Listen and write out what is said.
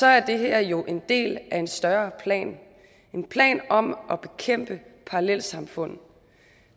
er det her jo en del af en større plan en plan om at bekæmpe parallelsamfund